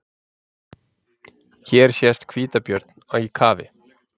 Hér sést hvítabjörn í kafi.